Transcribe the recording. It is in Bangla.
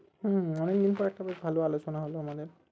হম হম অনেকদিন পর একটা বেশ ভালো আলোচনা হলো আমাদের